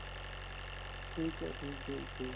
ਠੀਕ ਏ ਠੀਕ ਏ ਜੀ